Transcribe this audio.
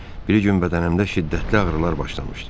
Bir gün bədənimdə şiddətli ağrılar başlamışdı.